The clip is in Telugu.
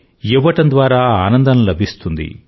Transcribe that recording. ఇవ్వడం ద్వారా ఆనందం లభిస్తుంది